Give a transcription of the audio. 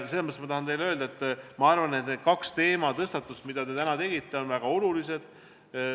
Ma tahan teile öelda, et need kaks teematõstatust, mis te täna tegite, on väga olulised.